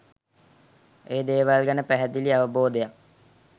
ඒ දේවල් ගැන පැහැදිලි අවබෝධයක්